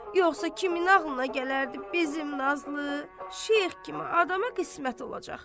Yoxsa kimin ağlına gələrdi bizim Nazlı, Şeyx kimi adama qismət olacaq?